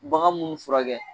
Bagan munnu furakɛ.